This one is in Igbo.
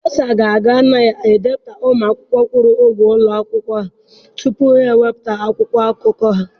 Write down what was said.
Bursar ga-aga na ndepụta ụmụ akwụkwọ kwụrụ ụgwọ ụlọ akwụkwọ ha tupu ha ewepụta akwụkwọ akụkọ ahụ.